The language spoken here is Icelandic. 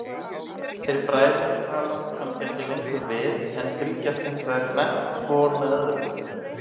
Þeir bræður talast kannski ekki lengur við, en fylgjast hinsvegar grannt hvor með öðrum.